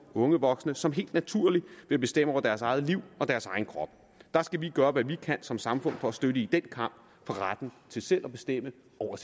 unge voksne som helt naturligt vil bestemme over deres eget liv og deres egen krop der skal vi gøre hvad vi kan som samfund for at støtte dem i den kamp for retten til selv at bestemme